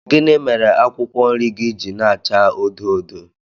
Gịnị mere akwụkwọ nri gị ji na-acha odo odo